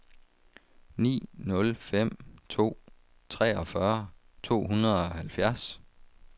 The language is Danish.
ni nul fem to treogfyrre to hundrede og halvfjerds